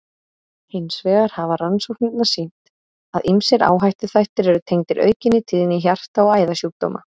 Hins vegar hafa rannsóknirnar sýnt, að ýmsir áhættuþættir eru tengdir aukinni tíðni hjarta- og æðasjúkdóma.